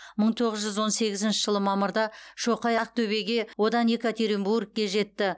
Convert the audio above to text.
мың тоғыз жүз он сегізінші жылы мамырда шоқай ақтөбеге одан екатеринбургке жетті